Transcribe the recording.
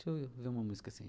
Deixa eu ver uma música assim.